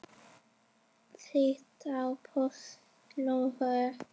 Þýtt á pólsku.